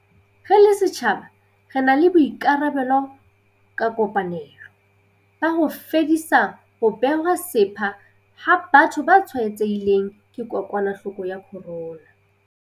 Re le setjhaba re na le boikarabelo ka kopanelo, ba ho fedisa ho bewa sepha ha batho ba tshwaetsehileng ke kokwanahloko ya corona.